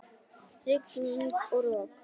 Rigning og rok!